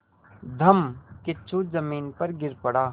धम्मकिच्चू ज़मीन पर गिर पड़ा